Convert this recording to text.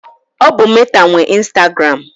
Ọ bụ Meta nwe instagụram.